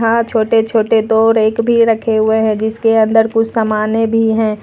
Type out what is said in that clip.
यहां छोटे छोटे दो रैक भी रखे हुए हैं जिसके अंदर कुछ सामने भी है।